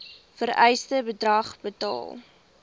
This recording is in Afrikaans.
vereiste bedrag betaal